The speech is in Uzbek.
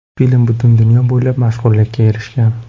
Film butun dunyo bo‘ylab mashhurlikka erishgan.